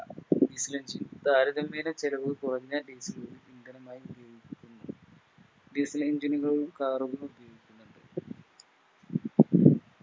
Diesel engine താരതമ്യേനെ ചിലവുകുറഞ്ഞ Diesel ഇന്ധനമായും ഉപയോഗിക്കുന്നു Diesel engine കൾ Car കളും ഉപയോഗിക്കുന്നുണ്ട്